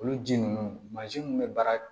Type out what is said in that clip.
Olu ji ninnu mansin minnu bɛ baara